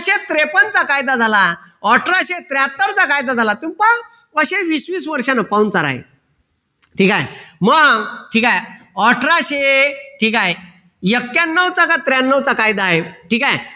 त्रेपन्न चा कायदा झाला अठराशे त्र्याहत्तर चा कायदा झाला तुम्ही पहा कसे वीस वीस वर्षाने पाहुणचार आहे ठीक आहे मग ठीक आहे अठराशे ठीक आहे ऐक्यान्नवचा का त्र्यांन्नवचा कायदा आहे. ठीक आहे.